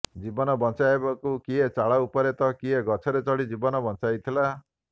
ଜୀବନ ବଞ୍ଚାଇବାକୁ କିଏ ଚାଳ ଉପରେ ତ କିଏ ଗଛରେ ଚଢି ଜୀବନ ବଞ୍ଚାଇଥିଲା